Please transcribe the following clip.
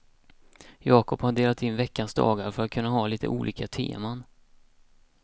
Jakob har delat in veckans dagar för att kunna ha litet olika teman.